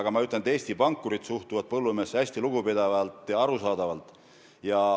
Aga ma ütlen, et Eesti pankurid suhtuvad põllumehesse hästi lugupidavalt ja arusaadavalt.